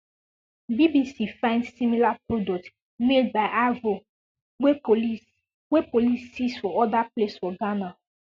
bbc find similar products made by aveo wey police wey police seize for oda place for ghana